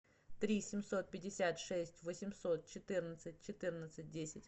три семьсот пятьдесят шесть восемьсот четырнадцать четырнадцать десять